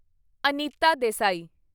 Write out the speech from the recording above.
Anita Desai